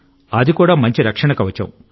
అది కూడా మంచి రక్షణ కవచం